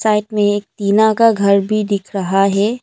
Site में एक तिना का घर भी दिख रहा है।